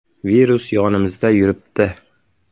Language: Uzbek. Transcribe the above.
Virus yonimizda yuribdi.